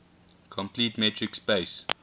complete metric space